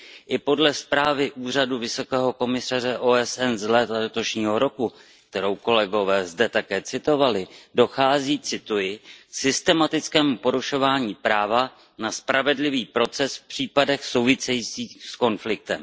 I podle zprávy Úřadu vysokého komisaře OSN z léta letošního roku, kterou kolegové zde také citovali, dochází K systematickému porušování práva na spravedlivý proces v případech souvisejících s konfliktem.